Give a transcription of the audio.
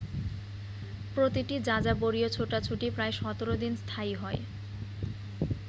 প্রতিটি যাযাবরীয় ছোটাছুটি প্রায় 17 দিন স্থায়ী হয়